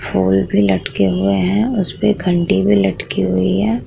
फूल भी लटके हुए है इसपे घंटी भी लटकी हुई है।